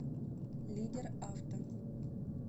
лидер авто